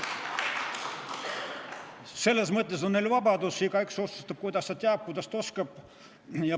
Selles mõttes on vabadus, igaüks otsustab, kuidas ta teab, kuidas ta oskab.